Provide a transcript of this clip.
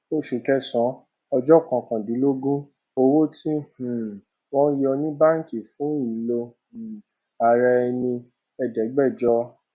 oṣù kẹsànán ọjọ kọkàndínlógún owó tí um wọn yọ ní báǹkì fún ìlò um ara ẹni ẹẹdẹgbẹjọ um